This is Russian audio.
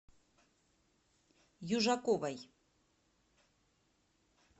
южаковой